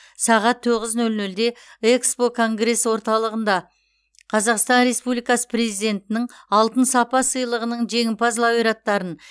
сағат тоғыз нөл нөлде экспо конгресс орталығында қазақстан республикасы президентінің алтын сапа сыйлығының жеңімпаз лауреаттарын